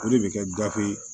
O de bɛ kɛ gafe ye